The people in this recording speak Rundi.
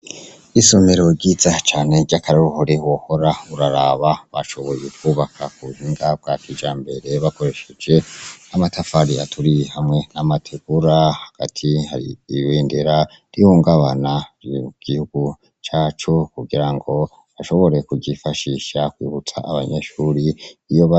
Isomero ryiza cane ry'akaroruhore wohora uraraba bashoboye kwubaka mubuhinga bwa kijambere bakoresheje amatafari aturiye hamwe n'amategura, hagati hari ibendera rihungabana ry'igihugu cacu kugirango bashobore kugifashisha kuruta abanyeshuri iyoba.